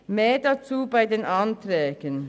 mehr dazu bei den Anträgen.